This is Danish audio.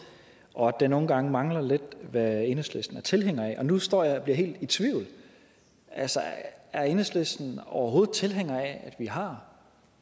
og at der nogle gange mangler lidt hvad enhedslisten er tilhænger af nu står jeg og bliver helt i tvivl altså er enhedslisten overhovedet tilhænger af at vi har